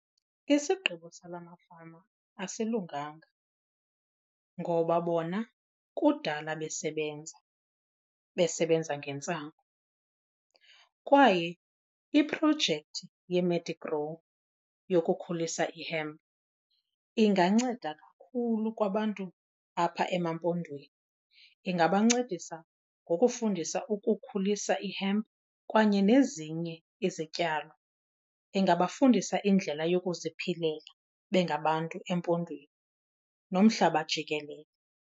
Isigqibo sala mafama asilunganga ngoba bona kudala besebenza, besebenza ngentsangu kwaye iprojekthi yeMedigrow yokukhulisa ihempu inganceda kakhulu kwabantu apha emaMpondweni. Ingabancedisa ngokufundisa ukukhulisa ihempu kanye nezinye izityalo. Ingabafundisa indlela yokuziphilela bengabantu eMpondweni nomhlaba jikelele.